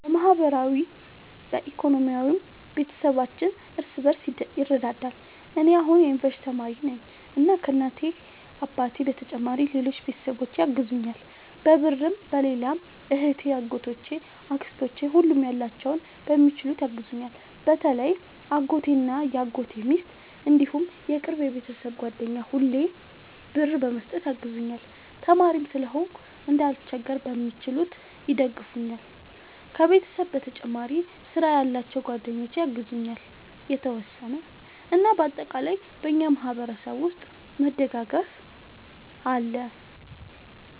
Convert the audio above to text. በማህበራዊም በኢኮኖሚም ቤተሰባችን እርስ በርስ ይረዳዳል። እኔ አሁን የዩንቨርስቲ ተማሪ ነኝ እና ከ እናት አባቴ በተጨማሪ ሌሎች ቤተሰቦቼ ያግዙኛል በብርም በሌላም እህቴ አጎቶቼ አክስቶቼ ሁሉም ያላቸውን በሚችሉት ያግዙኛል። በተለይ አጎቴ እና የአጎቴ ሚስት እንዲሁም የቅርብ የቤተሰብ ጓደኛ ሁሌ ብር በመስጠት ያግዙኛል። ተማሪም ስለሆንኩ እንዳልቸገር በሚችሉት ይደግፈኛል። ከቤተሰብ በተጨማሪ ስራ ያላቸው ጓደኞቼ ያግዙኛል የተወሰነ። እና በአጠቃላይ በእኛ ማህበረሰብ ውስጥ መደጋገፍ አለ